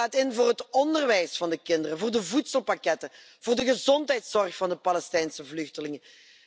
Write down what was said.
Ze staat in voor het onderwijs van de kinderen, voor de voedselpakketten, voor de gezondheidszorg van de Palestijnse vluchtelingen.